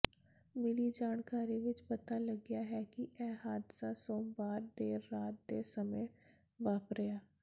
ਮਿਲੀ ਜਾਣਕਾਰੀ ਵਿੱਚ ਪਤਾ ਲੱਗਿਆ ਹੈ ਕਿ ਇਹ ਹਾਦਸਾ ਸੋਮਵਾਰ ਦੇਰ ਰਾਤ ਦੇ ਸਮੇਂ ਵਾਪਰਿਆ